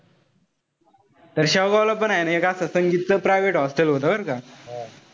तर शाहुबा ला पण हाये. एक असं संगीत च private hospital होत बरं का.